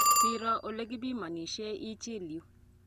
Siro ole kipimanishe ichil yu.